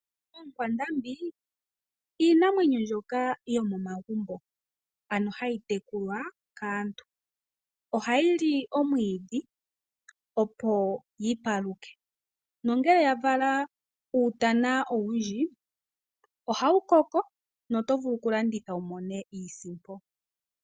Oonkwandambi iinamwenyo mbyoka yomomagumbo, ano hayi tekulwa kaantu. Ohayi li omwiidhi, opo yi paluke. Ngele ya vala uutana owundji, ohawu koko noto vulu okulanditha wu mone iisimpo.